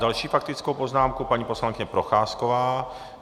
Další faktickou poznámku, paní poslankyně Procházková.